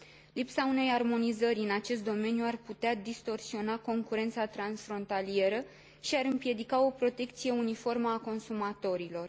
Lipsa unei armonizări în acest domeniu ar putea distorsiona concurența transfrontalieră și ar împiedica o protecție uniformă a consumatorilor.